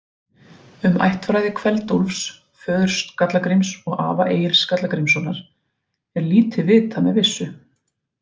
Um ættfræði Kveld-Úlfs, föður Skalla-Gríms og afa Egils Skalla-Grímssonar, er lítið vitað með vissu.